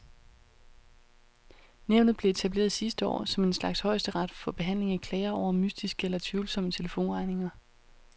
Nævnet blev etableret sidste år som en slags højesteret for behandling af klager over mystiske eller tvivlsomme telefonregninger.